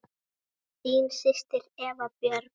Þín systir, Eva Björg.